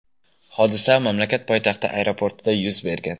Hodisa mamlakat poytaxti aeroportida yuz bergan.